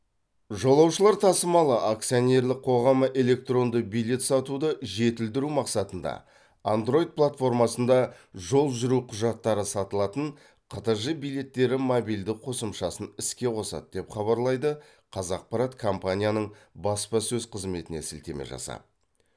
жолаушылар тасымалы акционерлік қоғамы электронды билет сатуды жетілдіру мақсатында андройд платформасында жол жүру құжаттары сатылатын қтж билеттері мобильді қосымшасын іске қосады деп хабарлайды қазақпарат компанияның баспасөз қызметіне сілтеме жасап